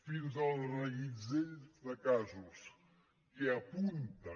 fins al reguitzell de casos que apunten